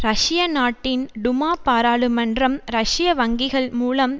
ரஷ்ய நாட்டின் டுமா பாராளுமன்றம் ரஷ்ய வங்கிகள் மூலம்